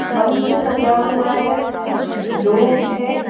मंच सजा हुआ हैं कुछ लोग हैं।